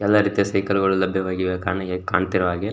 ಎಲ್ಲ ರೀತಿಯ ಸೈಕಲ್ಗಳು ಲಭ್ಯವಾಗಿವೆ ಕಣ್ಣಿಗೆ ಕಾಣ್ತಾಇರೋಹಾಗೆ --